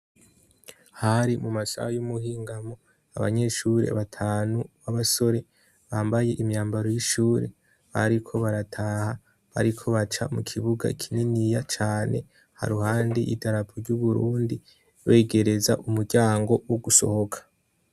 Hari mu masaha y'umuhingamo, abanyeshure batanu b'abasore bambaye imyambaro y'ishure bariko barataha, bariko baca mu kibuga kininiya cane haruhande y'idarapo ry'Uburundi wegereza umuryango wo gusohoka.